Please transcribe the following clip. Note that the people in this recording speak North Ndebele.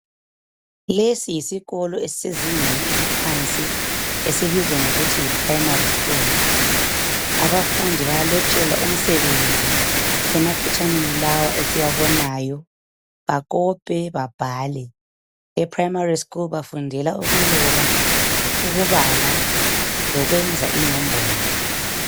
Lesi yisikolo esisezingeni eliphansi esibizwa ngokuthi yiprimary school abafundi bayalotshelwa umsebenzi emaphetshaneni lawa esiwabonayo bakope babale eprimary school bafundela ukuloba ukubhala lokwenza inombolo.